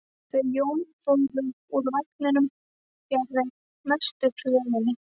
Þau Jón fóru úr vagninum fjarri mestu þvögunni.